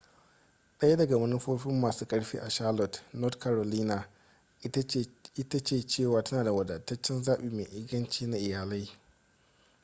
daya daga manufofin masun karfi a charlotte north carolina ita ce cewa tana da wadataccen zaɓi mai inganci na iyalai